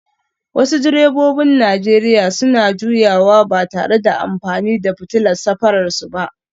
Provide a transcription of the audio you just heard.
Wasu direbobin Najeriya suna juyawa ba tare da amfani da fitilar safararsu ba